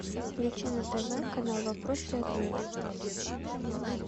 включи на тв канал вопросы и ответы